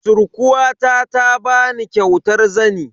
Surkuwata ta bani kyautar zani.